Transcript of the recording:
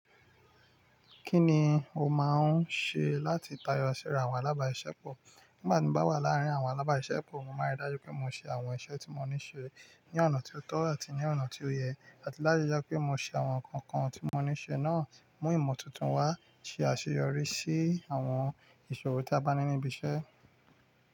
Kí ni o máa ń ṣe láti tayọ síra àwọn alábàsiṣẹ́ pọ̀? Nígbà tí mo bá wà láàárín àwọn alábàsiṣẹ́ pọ̀, mo máa rí dájú pé mo ṣe àwọn iṣẹ́ tí mo ní ṣe ní ọ̀nà tó tọ́ àti ní ọ̀nà tí ó yẹ. Àti lájájá pé mo ṣe àwọn nǹkan kan tí mo ní ṣe náà, mú ìmọ̀ tuntun wá, ṣe àṣeyọrí sí àwọn ìṣòro tí a bá ní níbi iṣẹ́.